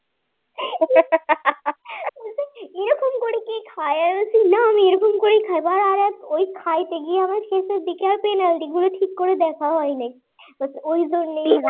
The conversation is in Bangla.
খাড়ায় রয়েছে না আমি এরকম করেই খাইব আরে ওই খাইতে গিয়ে আমার শেষের দিকে আর penalty গুলো ঠিক করে দেখা হয় নাই ওই জন্যেই